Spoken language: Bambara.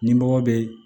Ni mɔgɔ bɛ